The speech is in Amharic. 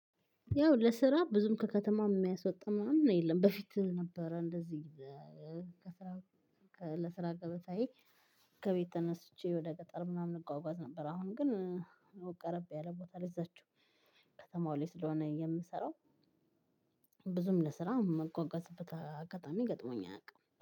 ያው ለስራ ብዙም ከከተማ የሚያስወጣ ምናምን የለም በፊት ነበረ። እንደዚህ ከስራ ለስራ ገበታዬ ከቤት ተነስቼ ወደ ቀጠር ምናምን እጓጓዝ ነበር። አሁን ግን ቀረብ ያለ ቦታ ላይ እዛችው ከተማው ላይ ስለሆነ የምሰራው። ብዙም ለስራ ምጓጓዝበት አጋጣሚ ገጥሞኝ አያውቅም